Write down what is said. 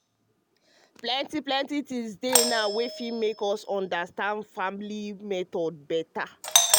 plenty plenty things dey now wey go help us make we understand family planning method dem beta.